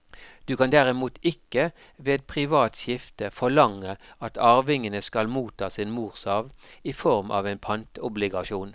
Du kan derimot ikke ved privat skifte forlange at arvingene skal motta sin morsarv i form av en pantobligasjon.